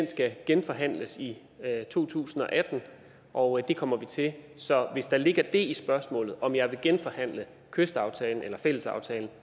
skal genforhandles i to tusind og atten og det kommer vi til så hvis der ligger det i spørgsmålet om jeg vil genforhandle kystaftalen eller fællesaftalen